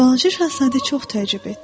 Balaca Şahzadə çox təəccüb etdi.